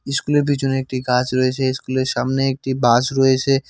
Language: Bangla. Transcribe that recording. ইস্কুল স্কুল এর পিছনে একটি গাছ রয়েছে ইস্কুল এর সামনে একটি বাস রয়েসে ।